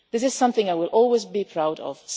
This is something I will always be proud of.